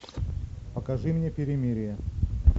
покажи мне перемирие